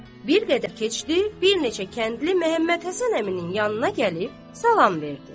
Bir qədər keçdi, bir neçə kəndli Məhəmməd Həsən əminin yanına gəlib salam verdi.